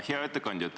Hea ettekandja!